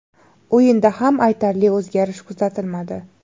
O‘yinda ham aytarli o‘zgarish kuzatilmadi.